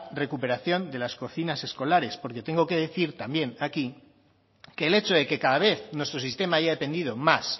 recuperación de las cocinas escolares porque tengo que decir también aquí que el hecho de que cada vez nuestro sistema haya dependido más